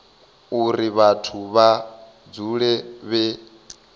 uri vhathu vha dzule vhe